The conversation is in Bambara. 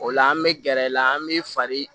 O la an bɛ gɛrɛ i la an bɛ fari